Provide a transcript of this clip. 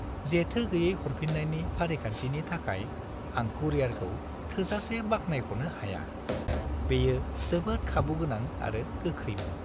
जेथो-गैयै हरफिन्नायनि फारिखान्थिनि थाखाय आं कुरियारखौ थोजासे बाख्नायख'नो हाया; बेयो जोबोद खाबुगोनां आरो गोख्रैमोन।